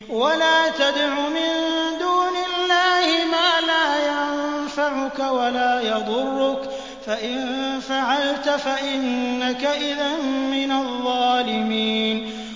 وَلَا تَدْعُ مِن دُونِ اللَّهِ مَا لَا يَنفَعُكَ وَلَا يَضُرُّكَ ۖ فَإِن فَعَلْتَ فَإِنَّكَ إِذًا مِّنَ الظَّالِمِينَ